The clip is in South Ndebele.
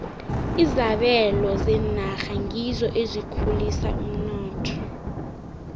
izabelo zenarha ngizo ezikhulisa umnotho